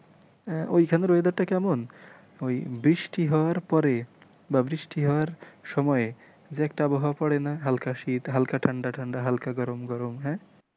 আহ ওখানের weather টা কেমন ওই বৃষ্টি হওয়ার পরে বা বৃষ্টি হওয়ার সময়ে যে একটা আবহাওয়া পড়েনা হাল্কা শীত হাল্কা ঠাণ্ডা ঠাণ্ডা হাল্কা গরম গরম,